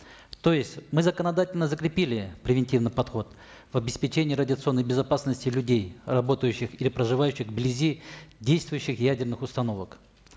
то есть мы законодательно закрепили превентивный подход в обеспечении радиационной безопасности людей работающих или проживающих вблизи действующих ядерных установок